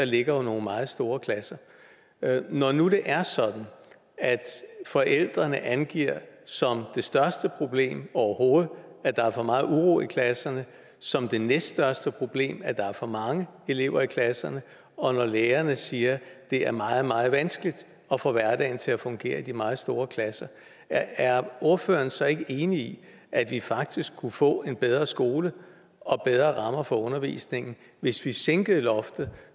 ligger nogle meget store klasser når nu det er sådan at forældrene angiver som det største problem overhovedet at der er for meget uro i klasserne og som det næststørste problem at der er for mange elever i klasserne og når lærerne siger at det er meget meget vanskeligt at få hverdagen til at fungere i de meget store klasser er ordføreren så ikke enig i at vi faktisk kunne få en bedre skole og bedre rammer for undervisningen hvis vi sænkede loftet